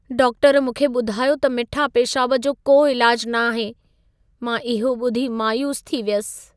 Doctor मूंखे ॿुधायो त मिठा पेशाब जो को इलाज न आहे। मां इहो ॿुधी मायूस थी वियसि।